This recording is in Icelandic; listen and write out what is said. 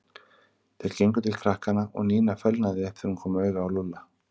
Þeir gengu til krakkanna og Nína fölnaði upp þegar hún kom auga á Lúlla.